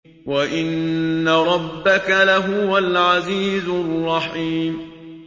وَإِنَّ رَبَّكَ لَهُوَ الْعَزِيزُ الرَّحِيمُ